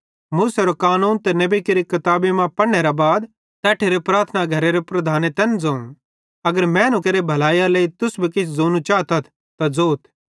मूसेरो कानून ते नेबी केरि किताबी मां पढ़नेरे बाद तैट्ठेरे प्रार्थना घरेरे प्रधाने तैन ज़ोवं अगर मैनू केरि भलैइयरे लेइ तुस भी किछ ज़ोनू चातथ त ज़ोथ